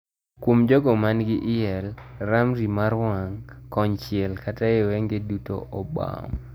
Kuom jogo man gi IEL ,ramrny mar wang' kon chiel kata e wenge duto obam.